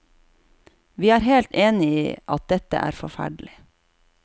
Vi er helt enig i at dette er forferdelig.